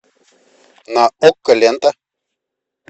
на окко лента